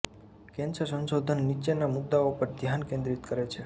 cancer સંશોધન નીચેના મુદ્દાઓ પર ધ્યાન કેન્દ્રિત કરે છે